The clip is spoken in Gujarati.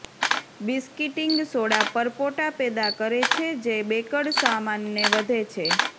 બિસ્કિટિંગ સોડા પરપોટા પેદા કરે છે જે બેકડ સામાનને વધે છે